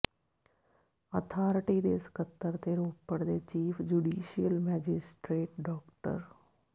authority ਦੇ ਸਕੱਤਰ ਤੇ ਰੋਪੜ ਦੇ ਚੀਫ ਜ਼ੁਡੀਸ਼ੀਅਲ ਮੈਜਿਸਟ੍ਰੇਟ ਡਾ